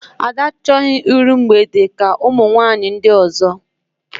Ada achọghị iru mgbede ka ụmụ nwaanyị ndị ọzọ